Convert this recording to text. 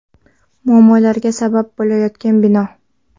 Muammolarga sabab bo‘layotgan bino.